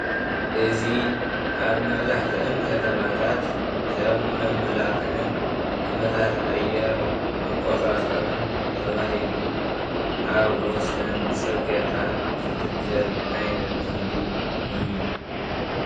እዚ ምስሊ ዕምበባ ኮይኑ ንመመላኽዒን ኣየር መቆፃፀርን ኣብ ወሰን ፅርግያ ይትከል።